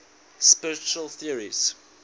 spiritual theories